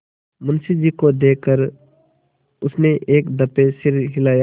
मुंशी जी को देख कर उसने एक दफे सिर हिलाया